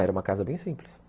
Era uma casa bem simples.